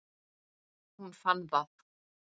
Hún fann það.